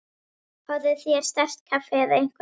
Fáðu þér sterkt kaffi eða eitthvað.